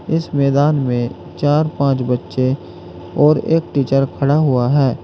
इस मैदान में चार पांच बच्चे और एक टीचर खड़ा हुआ है।